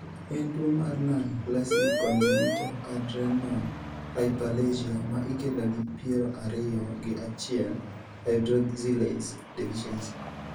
En tuwo mar non-classic congenital adrenal hyperplasia ma ikelo gi piero ariyo gi achiel hydroxylase deficiency?